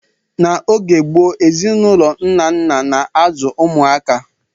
N'oge gboo, ezinụlọ nna nna na-azụ ụmụaka.